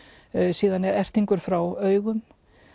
síðan er frá augum